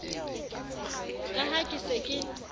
ka ha ke se ke